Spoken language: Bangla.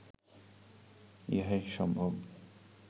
ইহাই সম্ভব